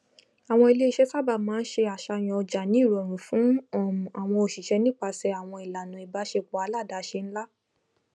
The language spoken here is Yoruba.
àwọn iléiṣẹ sábà máa ń se àṣàyàn ọjà ní ìrọrùn fún um àwọn òṣìṣẹ nípasẹ àwọn ìlànà ìbàsẹpọ aládàáṣe nlá